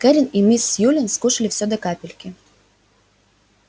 кэррин и мисс сьюлин скушали всё до капельки